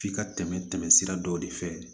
F'i ka tɛmɛ tɛmɛ sira dɔw de fɛ